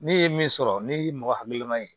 Ne ye min sɔrɔ ne y'i mɔgɔ hakili la ye